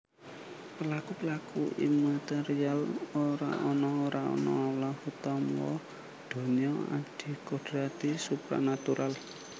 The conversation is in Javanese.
Pelaku pelaku immaterial ora ana ora ana Allah utawa donya adikodrati supranatural